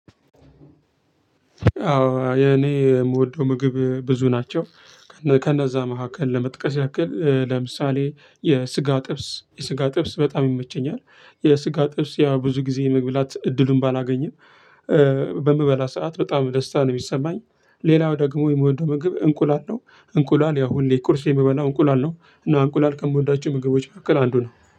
አዎ የኔ የምወደው ምግብ ብዙ ናቸው። ከነዛ መካከል ለመጥቀስ ያክል ለምሳሌ የስጋ ጥብስ የስጋ ጥብስ በጣም ይመቸኛል የስጋ ጥብስ ያ ብዙ ጊዜ መግብላት እድሉን ባላገኝም። በምበላ ሰዓት በጣም ደስታ ነው የሚሰማኝ ሌላው ደግሞ የመወደው ምግብ እንቁላል ነው። እንቁላል ያው ሁሌ ቁርሴ የምበላው እንቁላል ነው። እና እንቁላል ከምወዳቸው ምግቦች መካከል አንዱ ነው